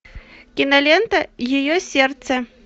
кинолента ее сердце